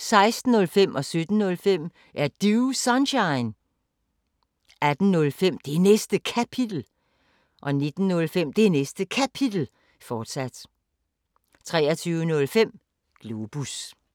16:05: Er Du Sunshine? 17:05: Er Du Sunshine? 18:05: Det Næste Kapitel 19:05: Det Næste Kapitel, fortsat 23:05: Globus